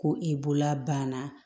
Ko i bolola banna